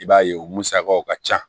I b'a ye o musakaw ka ca